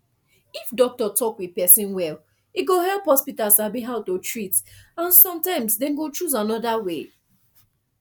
if doctor talk with person well e go help hospital sabi how to treat and sometimes dem go choose another way